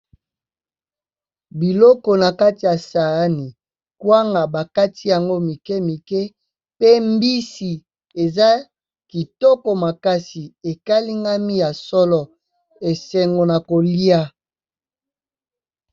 Biloko na kati ya saani kwanga bakati yango mike mike, pe mbisi eza kitoko makasi ekalingami ya solo esengo na kolia.